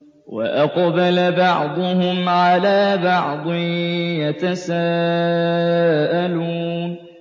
وَأَقْبَلَ بَعْضُهُمْ عَلَىٰ بَعْضٍ يَتَسَاءَلُونَ